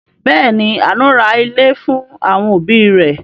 Bẹẹ̀ ni, Àánú ra ilé fún àwọn òbí rẹ̀.